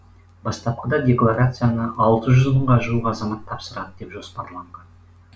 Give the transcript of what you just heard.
бастапқыда декларацияны алты жүз мыңға жуық азамат тапсырады деп жоспарланған